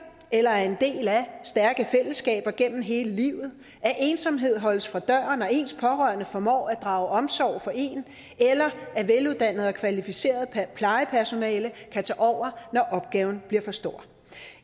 eller er en del af stærke fællesskaber gennem hele livet at ensomhed holdes fra døren og ens pårørende formår at drage omsorg for en eller at veluddannet og kvalificeret plejepersonale kan tage over når opgaven bliver for stor